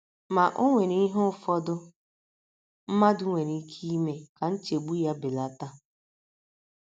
Ma, o nwere ihe ụfọdụ mmadụ nwere ike ime ka nchegbu ya belata.